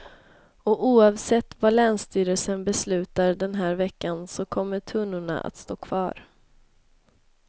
Oavsett vad länsstyrelsen beslutar den här veckan så kommer tunnorna att stå kvar.